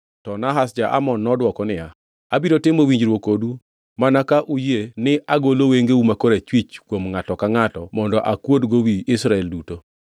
To Nahash ja-Amon nodwoko niya, “Abiro timo winjruok kodu mana ka uyie ni agolo wengeu ma korachwich kuom ngʼato ka ngʼato mondo akuodgo wi Israel duto.”